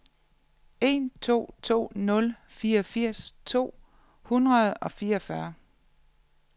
en to to nul fireogfirs to hundrede og fireogfyrre